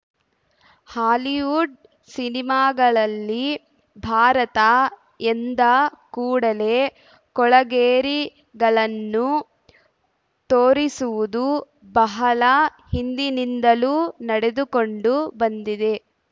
Hollywood ಸಿನಿಮಾಗಳಲ್ಲಿ ಭಾರತ ಎಂದ ಕೂಡಲೇ ಕೊಳಗೇರಿಗಳನ್ನು ತೋರಿಸುವುದು ಬಹಳ ಹಿಂದಿನಿಂದಲೂ ನಡೆದುಕೊಂಡು ಬಂದಿದೆ